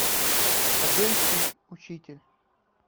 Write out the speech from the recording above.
хабенский учитель